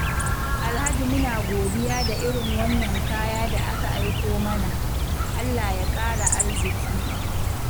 Alhaji muna godiya da irin wannan kaya da aka aiko mana, Allah ya ƙara arziƙi.